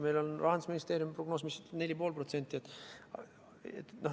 Meil on Rahandusministeeriumi prognoos, mis ütleb, et kasv on 4,5%.